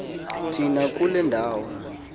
thina kule ndawo